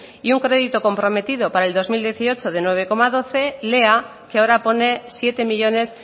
y un crédito comprometido para el dos mil dieciocho de nueve coma doce lea que ahora pone siete millónes